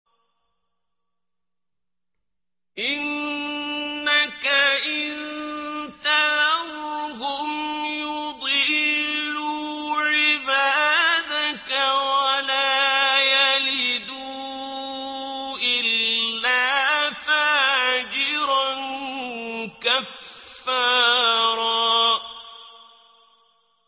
إِنَّكَ إِن تَذَرْهُمْ يُضِلُّوا عِبَادَكَ وَلَا يَلِدُوا إِلَّا فَاجِرًا كَفَّارًا